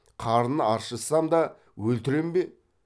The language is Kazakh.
қарын аршысам да өлтірем бе